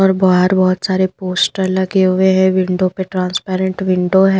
और बाहर बहुत सारे पोस्टर लगे हुए हैं विंडो पे ट्रांसपेरेंट विंडो है।